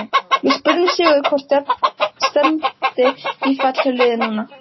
Við spurðum Sigurð hvort stefndi í fall hjá liðinu núna?